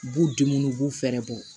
U b'u denw u b'u fɛɛrɛ bɔ